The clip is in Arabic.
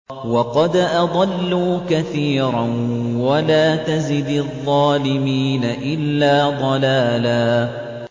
وَقَدْ أَضَلُّوا كَثِيرًا ۖ وَلَا تَزِدِ الظَّالِمِينَ إِلَّا ضَلَالًا